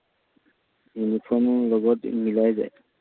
ইউনিফর্মো লগত মিলাই যায়।